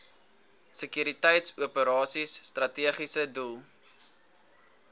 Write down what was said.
sekuriteitsoperasies strategiese doel